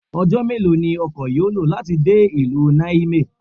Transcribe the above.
Ọjọ́ mélòó ni ọkọ yó lò láti dé ìlú Niamey?